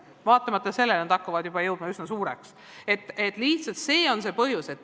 Vaatamata sellele, et nad hakkavad saama juba üsna suureks.